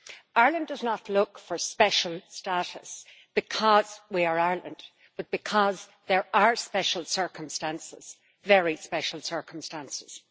Ireland does not look for special status because we are Ireland, but because there are special circumstances, very special circumstances.